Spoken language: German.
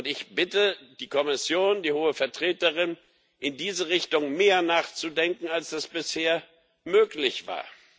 Ich bitte die Kommission, die Hohe Vertreterin, in diese Richtung mehr nachzudenken, als das bisher möglich war.